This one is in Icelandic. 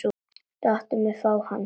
Láttu mig fá hann.